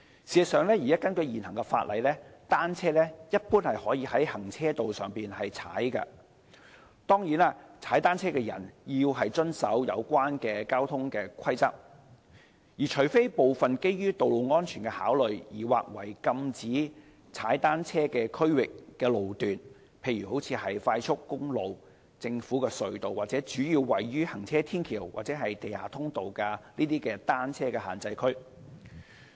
事實上，根據現行法例，單車一般可在行車道上騎踏，當然騎單車者須遵守有關的交通規則，除非部分基於道路安全考慮而劃為禁止騎單車區域的路段，例如快速公路、政府隧道和主要位於行車天橋及地下通道的單車限制區。